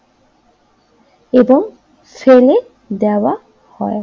এবং ফেলে দেওয়া হয়।